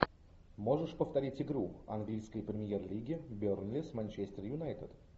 можешь повторить игру английской премьер лиги бернли с манчестер юнайтед